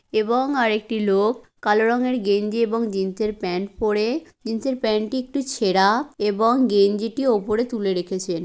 এবং আর একটি লোক কালো রঙের গেঞ্জি এবং জিন্সের প্যান্ট পড়ে জিন্সের প্যান্ট টি একটু ছেড়া এবং গেঞ্জিটা উপরে তুলে রেখেছেন।